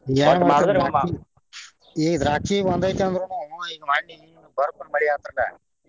ಈಗ ದ್ರಾಕ್ಷಿ ಬಂದೇತಿ ಅಂದ್ರನು ಈಗ ಮನ್ನಿ ಈಗ ಬರಕ್ಕನ ಮಳಿ ಆತ್ರಿಲ್ಲ.